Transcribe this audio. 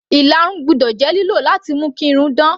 Ìlarun gbọ́dọ̀ jẹ́ lílò láti mú kí irun dán.